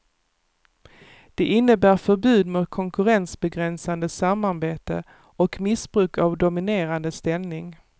Det innebär förbud mot konkurrensbegränsande samarbete och missbruk av dominerande ställning.